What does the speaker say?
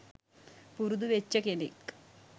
පුරුදු වෙච්ච කෙනෙක්.